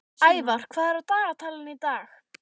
Ævar, hvað er á dagatalinu í dag?